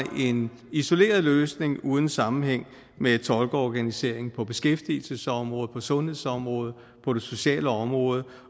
en isoleret løsning uden sammenhæng med tolkeorganiseringen på beskæftigelsesområdet på sundhedsområdet på det sociale område